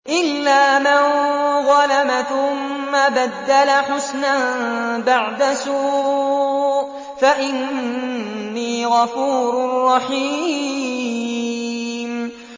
إِلَّا مَن ظَلَمَ ثُمَّ بَدَّلَ حُسْنًا بَعْدَ سُوءٍ فَإِنِّي غَفُورٌ رَّحِيمٌ